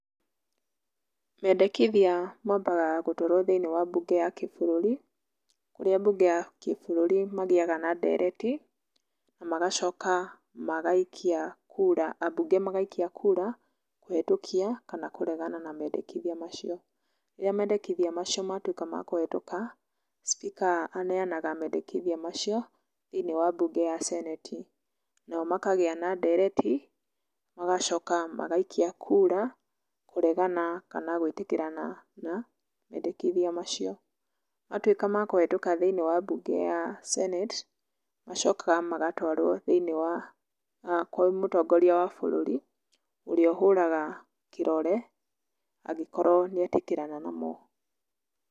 Mendekithia maambaga gũtwarwo thĩiniĩ wa mbunge ya kĩbũrũri, kũrĩa bunge ya kĩbũrũri magĩaga na ndereti na magacoka magaikia kura, ambunge magaikia kuura, kũhetũkia kana kũregana na mendekithia macio. Rĩrĩa mendekithia macio matuĩka ma kũhetuka speaker aneanaga mendekithia macio thĩiniĩ wa mbunge ya senate, nao makagĩa na ndereti magacoka magaikia kũra kũregana kana gwĩtĩkĩrana na mendekithia macio. Matuĩka ma kũhetũka thĩiniĩ wa mbunge ya senate macokaga magatwarwo thĩiniĩ wa , kwĩ mũtongoria wa bũrũri, ũrĩa ũhũraga kĩrore, angĩkorwo nĩetĩkĩrana namo.